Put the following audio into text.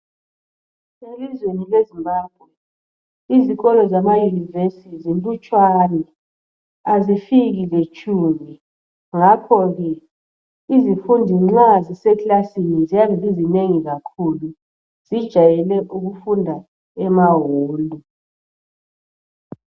Elizweni leZimbabwe izikolo zamaYunivesithi zinlutshwana azifiki letshumi ngakhoke izifundi nxa zisekilasini ziyabe zizinengi kakhulu zijayele ukufunda emahall.